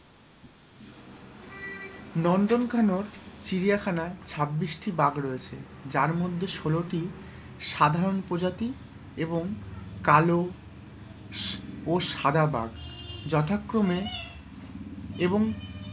নন্দন কানন চিড়িয়াখানায় ছাব্বিশটি বাঘ রয়েছে যার মধ্যে ষোলোটি সাধারণ প্রজাতি এবংকালো ও সাদা বাঘ যথাক্রমে এবং,